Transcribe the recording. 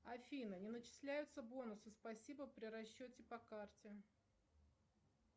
афина не начисляются бонусы спасибо при расчете по карте